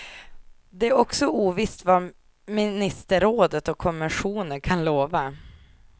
Det är också ovisst vad ministerrådet och kommissionen kan lova.